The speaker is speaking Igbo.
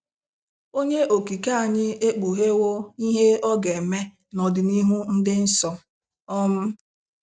Onye Okike anyị ekpughego ihe ọ ga-eme n'ọdịnihu dị nso. um